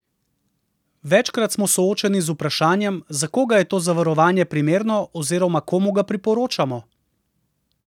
Večkrat smo soočeni z vprašanjem, za koga je to zavarovanje primerno oziroma komu ga priporočamo?